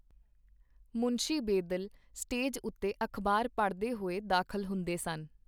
ਮੁਨਸ਼ੀ Bedil stage ਉਤੇ ਅਖ਼ਬਾਰ ਪੜ੍ਹਦੇ ਹੋਏ ਦਾਖਲ ਹੁੰਦੇ ਸਨ.